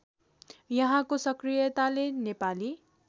यहाँको सक्रियताले नेपाली